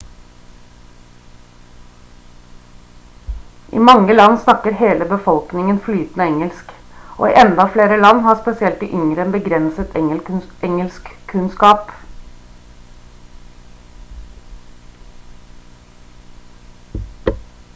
i mange land snakker hele befolkningen flytende engelsk og i enda flere land har spesielt de yngre en begrenset engelskkunnskap